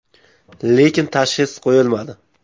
Lekin tashxis qo‘yilmadi.